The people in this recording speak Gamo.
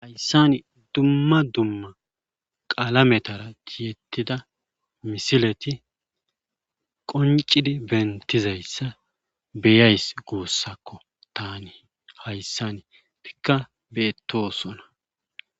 Hayssan dumma dumma qalametan tiyetidda misileti qonccidi bentidayssa beyays guussakko taani hayssan etikka betosona.